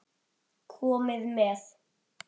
Komiði með!